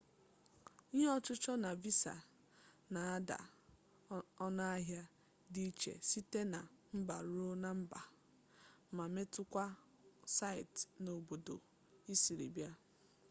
ihe ọchụchọ na visa na-ada ọnụahịa dị iche site na mba ruo na mba ma metụta kwa site n'obodo i siri bịa